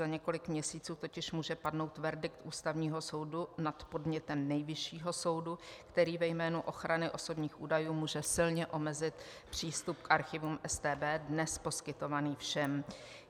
Za několik měsíců totiž může padnout verdikt Ústavního soudu nad podnětem Nejvyššího soudu, který ve jménu ochrany osobních údajů může silně omezit přístup k archivům StB, dnes poskytovaný všem.